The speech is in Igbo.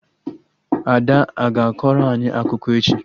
Ada a ga akọrọ anyị akụkọ echi?